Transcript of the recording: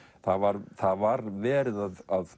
það var það var verið að